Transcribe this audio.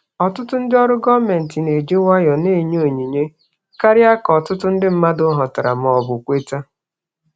Ọtụtụ ndị ọrụ gọọmentị na-eji nwayọọ na-enye onyinye karịa ka ọtụtụ ndị mmadụ ghọtara ma ọ bụ kweta.